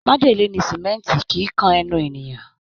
Májèlé ni símẹ́ǹtì, kìí kan ẹnu ènìyàn